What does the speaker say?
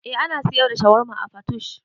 Eh ana siyar da shawarma a Patoosh